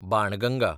Banganga